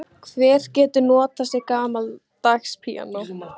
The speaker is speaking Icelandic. Svanir og endur svamla um lygnan flötinn.